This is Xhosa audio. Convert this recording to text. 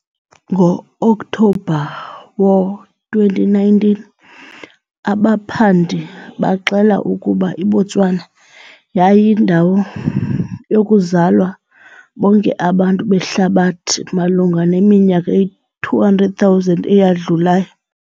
Ngo-Okthobha wo-2019, abaphandi baxela ukuba iBotswana yayindawo yokuzalwa bonke abantu behlabathi malunga neminyaka 200,000 eyadlulayo.